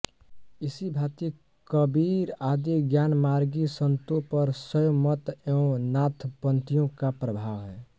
इसी भाँति कबीर आदि ज्ञानमार्गी संतों पर शैव मत एवं नाथपंथियों का प्रभाव है